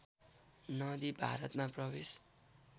नदी भारतमा प्रवेश